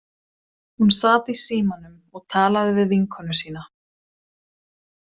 Hún sat í símanum og talaði við vinkonu sína.